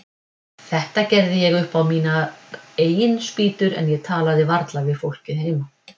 Þetta gerði ég upp á mínar eigin spýtur, en ég talaði varla við fólkið heima.